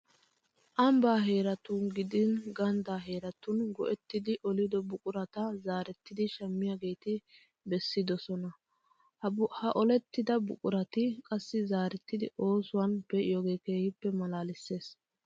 Ambbaa heeratun gidin ganddaa heeratun go"ettidi olido buqurata zaarettidi shammiyageeti bessidosona. Ha olettida buqurati qassi zaarettidi oosuwan pe'iyogee keehippe maalaalissees.